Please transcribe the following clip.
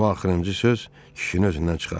Bu axırıncı söz kişinin özündən çıxartdı.